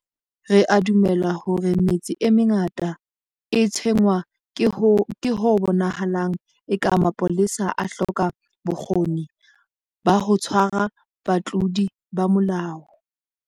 Re a dumela hore metse e mengata e tshwenngwa ke ho bonahalang eka mapolesa a hloka bokgoni ba ho tshwara batlodi ba molao.